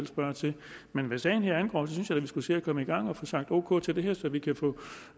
spørger til men hvad sagen angår synes jeg da vi skulle se at komme i gang og få sagt ok til det her så vi kan få